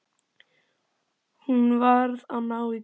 Hún varð að ná í kaupið.